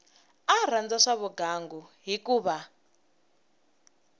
a rhandza swa vugangu hikuva